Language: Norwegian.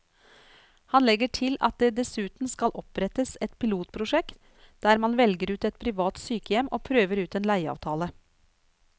Han legger til at det dessuten skal opprettes et pilotprosjekt der man velger ut ett privat sykehjem og prøver ut en leieavtale.